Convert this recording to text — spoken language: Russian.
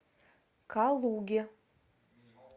калуге